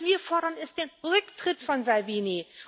Was wir fordern, ist der Rücktritt von Salvini.